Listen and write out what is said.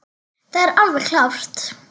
Það er alveg klárt.